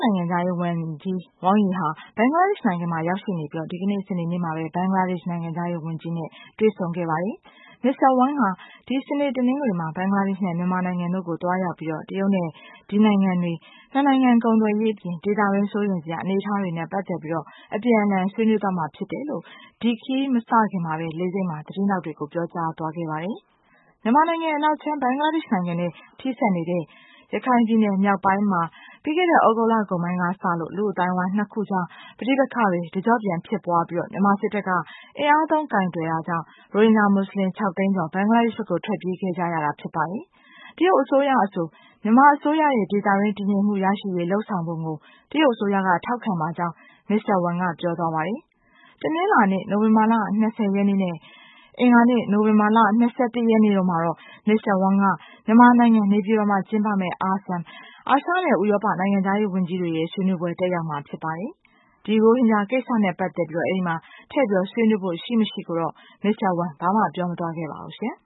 နိုင်ငံခြားရေးဝန်ကြီး Wang Yi ဟာ ဘင်္ဂလားဒေ့ရှ် နိုင်ငံမှာရောက်ရှိနေပြီး ဒီကနေ့ စနေနေ့မှာပဲ ဘင်္ဂလားဒေ့ရှ် နိုင်ငံခြားရေးဝန်ကြီးနဲ့ တွေ့ဆုံခဲ့ပါတယ်။ Mr. Wang ဟာ ဒီစနေ တနင်္ဂနွေမှာ ဘင်္ဂလားဒေ့ရှ် နဲ့ မြန်မာနိုင်ငံတို့ကို သွားရောက်ပြီး တရုတ်နဲ့ ဒီနိုင်ငံတွေ ၂ နိုင်ငံ ကုန်သွယ်ရေး အပြင် ဒေသတွင်း စိုးရိမ်စရာ အနေအထားတွေနဲ့ ပတ်သတ်ပြီး အပြန်အလှန် ဆွေးနွေးသွားမှာ ဖြစ်တယ်လို့ ဒီခရီးမစခင် လေဆိပ်မှာ သတင်းထောက်တွေကို ပြောကြားသွားခဲ့ပါတယ်။ မြန်မာနိုင်ငံအနောက်ခြမ်း ဘင်္ဂလားဒေ့ရှ် နိုင်ငံနဲ့ ထိစပ်နေတဲ့ ရခိုင်ပြည်နယ်မြောက်ပိုင်းမှာ ပြီးခဲ့တဲံ သြဂုတ်လ ကုန်ပိုင်းကစလို့ လူ့အသိုင်းအဝိုင်း ၂ ခု ကြား ပဋိပက္ခတွေ တကျော့ပြန် ဖြစ်ပွားပြီး မြန်မာစစ်တပ်က အင်အားသုံးကိုင်တွယ်တာကြောင့် ရိုဟင်ဂျာ မူစလင် ၆ သိန်းကျော် ဘင်္ဂလားဒေ့ရှ် ဘက်ကို ထွက်ပြေးခဲ့ကြတာ ဖြစ်ပါတယ်။ တရုတ်အစိုးရအဆို မြန်မာအစိုးရရဲ့ ဒေသတွင်း တည်ငြိမ်မှုရရှိရေး လုပ်ဆောင်ပုံကို တရုတ်အစိုးရက ထောက်ခံပါကြောင်း Mr. Wang က ပြောသွားပါတယ်။ တနင်္လာနေ့ နိုဝင်ဘာလ ၂၀ ရက်နေ့နဲ့ အင်္ဂါနေ့ နိုဝင်ဘာလ ၂၁ ရက်တို့မှာတော့ Mr. Wang က မြန်မာနိုင်ငံ နေပြည်တော်မှာ ကျင်းပမယ့် ASEM အာရှနဲ့ ဥရောပ နိုင်ငံခြားရေးဝန်ကြီးတွေရဲ့ ဆွေးနွေးပွဲ တက်ရောက်မှာ ဖြစ်ပါတယ်။ ဒီ ရိုဟင်ဂျာ ကိစ္စနဲ့ ပတ်သတ်ပြီး ထည့်ဆွေးနွေးဖို့ ရှိမရှိကိုတော့ Mr. Wang ဘာမှ ပြောမသွားပါဘူးရှင်